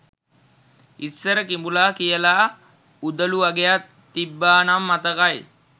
ඉස්සර කිඹුලා කියලා උදළු වගයක් තිබ්බා නම් මතකයි